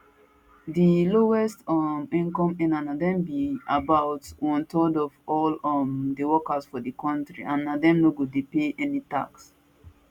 di lowest um income earners na dem be about onethird of all um di workers for di kontri and na dem no go pay any tax